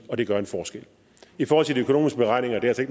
og det gør en forskel i forhold til de økonomiske beregninger er det